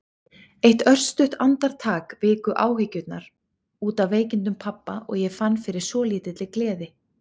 Eitt örstutt andartak viku áhyggjurnar út af veikindum pabba og ég fann fyrir svolítilli gleði.